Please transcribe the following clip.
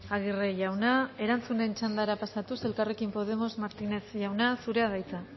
aguirre jauna erantzunen txandara pasatuz elkarrekin podemos martinez jauna zurea da hitza